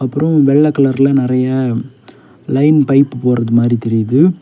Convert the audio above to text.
அப்ரோ வெள்ள கலர்ல நிறைய லைன் பைப் போறது மாதிரி தெரியுது.